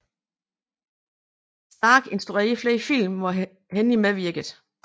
Stark instruerede flere film hvor Henny medvirkede